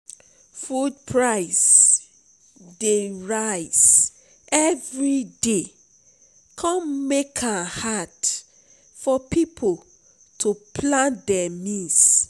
food price dey rise every day come make am hard for people to plan dem meals.